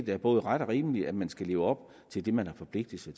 er både ret og rimeligt at man skal leve op til det man har forpligtet sig